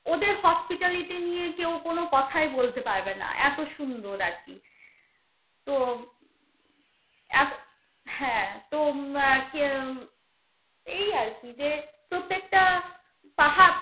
এর hospitality নিয়ে কেউ কোনো কথায়ই বলতে পারবে না. এত সুন্দর আর কি. তো এত~ হ্যা তো কে উম এই আর কি যে প্রত্যেকটা পাহা~